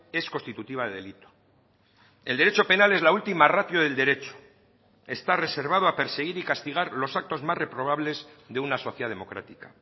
es constitutiva de delito el derecho penal es la última ratio del derecho está reservado a perseguir y castigar los actos más reprobables de una sociedad democrática